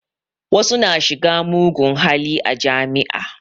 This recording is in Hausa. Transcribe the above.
Wasu na shiga mugun hali a jami'a